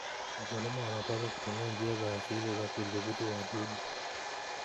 Wakulima wanapaswa kutumia njia za asili za kudhibiti wadudu.